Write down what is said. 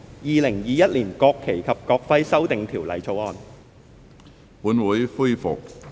《2021年國旗及國徽條例草案》。